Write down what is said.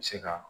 Se ka